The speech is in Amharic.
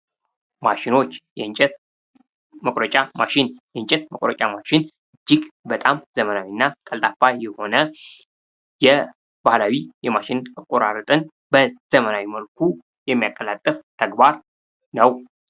ማሽኖች ። የእንጨት መቁረጫ ማሽን ፡ የእንጨት መቁረጫ ማሽን እጅግ በጣም ዘመናዊ እና ቀልጣፋ የሆነ የባህላዊ የማሽን አቆራረጥን በዘመናዊ መልኩ የሚያቀላጥፍ ተግባር ነው ።